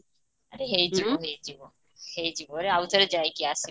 ହେଇଯିବ ହେଇଯିବ ହେଇଜିବାରେ ଆଉଥରେ ଯାଇକି ଆସେ